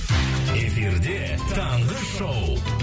эфирде таңғы шоу